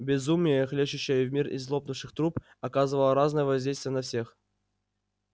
безумие хлещущее в мир из лопнувших труб оказывало разное воздействие на всех